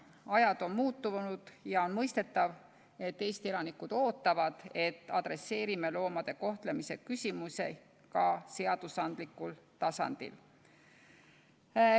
Ajad on muutunud ja on mõistetav, et Eesti elanikud ootavad, et me lahendame loomade kohtlemise küsimusi ka seadusandlikul tasandil.